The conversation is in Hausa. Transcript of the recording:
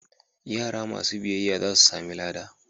Yara masu biyayya za su sami lada.